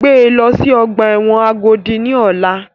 Gbé lọ sí ọgbà ẹ̀wọ̀n Agodi ní ọ̀la!